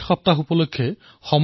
সপ্তাহনিমিত্তং দেশবাসিনাং